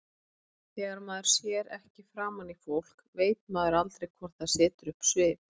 Þegar maður sér ekki framan í fólk veit maður aldrei hvort það setur upp svip.